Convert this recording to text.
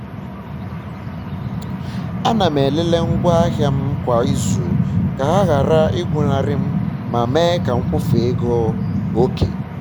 ana m elele ngwa ahịa m kwa um ịzu ka ha ghara igwụnarị m ma um mee ka m kwufe ego oke